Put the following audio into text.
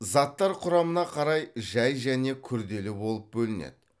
заттар құрамына қарай жай және күрделі болып бөлінеді